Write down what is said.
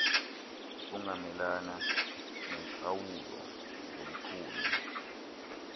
ungamelana neentlawulo zomthunywa